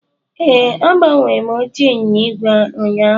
Ee, agbanwere m oche ịnyịnya ígwè ụnyaahụ